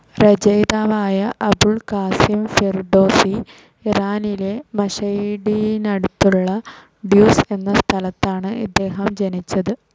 രചയിതാവായ Abul Qasim Firdausi, ഇറാനിലെ മാഷെഡിനടുത്തുള്ള Tus എന്ന സ്ഥലത്താണ് ഇദ്ദേഹം ജനിച്ചത്.